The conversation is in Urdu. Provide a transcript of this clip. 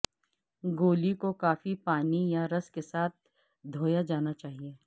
گولی کو کافی پانی یا رس کے ساتھ دھویا جانا چاہئے